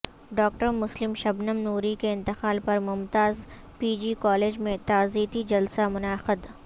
ڈاکٹرمسلم شبنم نوری کے انتقال پرممتاز پی جی کالج میں تعزیتی جلسہ منعقد